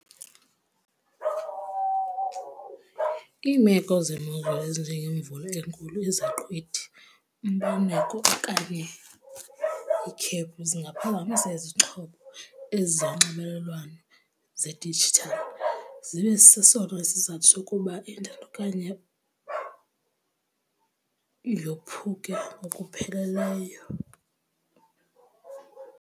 Iimeko zemozulu ezinjeengemvula enkulu, izaqhwithi, umbaneko okanye ikhephu zingaphazamisa izixhobo ezi zonxibelelwano zedijithali zibe sesona isizathu sokuba intanethi okanye yophuke ngokupheleleyo.